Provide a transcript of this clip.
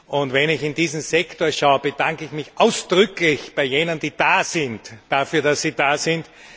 Und wenn ich in diesen Sektor schaue, bedanke ich mich ausdrücklich bei jenen, die da sind, dafür dass sie da sind.